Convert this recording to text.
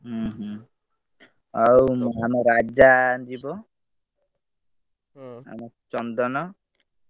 ହୁଁ ହୁଁ। ଆଉ ଆମ ରାଜା ଯିବ ଆମ ଚନ୍ଦନ,